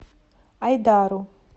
айдару